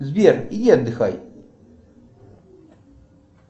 сбер иди отдыхай